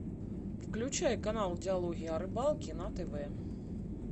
включай канал диалоги о рыбалке на тв